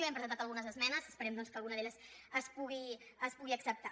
hi hem presentat algunes esmenes esperem doncs que alguna d’elles es pugui acceptar